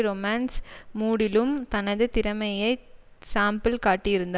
romance மூடிலும் தனது திறமையை சாம்பிள் காட்டியிருந்தார்